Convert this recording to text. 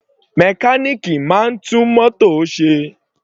Mechanic máa ń tún mótò ṣe.